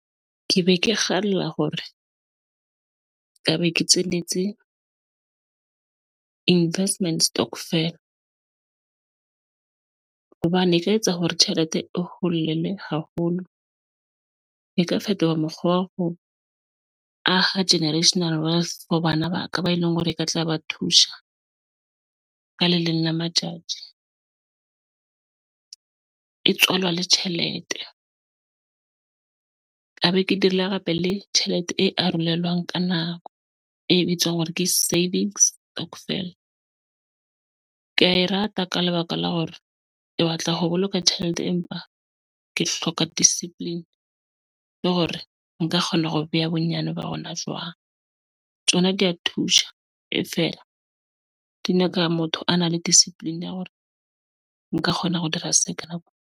Ke be ke kgalla hore nka be ke investment stokvel hobane e ka etsa hore tjhelete e holele haholo, e tka fetola mokgwa wa ho aha generational wealth for bana ba ka ba e leng hore e ka tla ba thusa ka le leng la matsati teng e tswalwa le tjhelete ka be ke dirile hape le tjhelete e arolelwana ka nako e bitswang hore ke savings stokvel. Ke ya e rata ka lebaka la hore ke batla ho boloka tjhelete empa ke hloka discipline le hore nka kgona ho beha bonyane ba hona jwang. Tsona di thusha, e fela di nyaka motho a nang le discipline ya hore nka kgona hore dira se ka nako.